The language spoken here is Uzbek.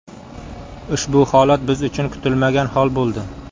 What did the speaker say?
Ushbu holat biz uchun kutilmagan hol bo‘ldi.